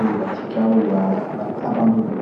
oyo batika oyo abandonné.